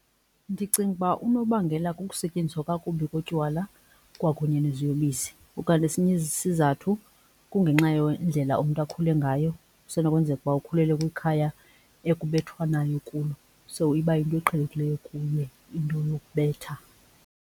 Ndicinga ukuba unobangela kukusetyenziswa kakubi kotywala kwakunye neziyobisi. Ukanti esinye isizathu kungenxa yendlela umntu akhule ngayo, kusenokwenzeka ukuba ukhulele kwikhaya ekubethwanayo kulo so iba yinto eqhelekileyo kuye into yokubetha.